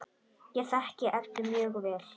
Ég þekki Eddu mjög vel.